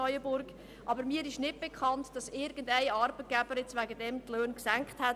Mir ist nicht bekannt, dass dort irgendein Unternehmer deswegen die Löhne gesenkt hat.